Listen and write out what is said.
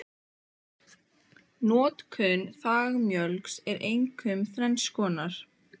Notkun þangmjöls er einkum þrenns konar